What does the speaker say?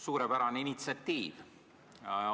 Suurepärane initsiatiiv!